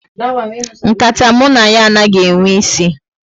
Nkata mụ na ya anaghị enwe isi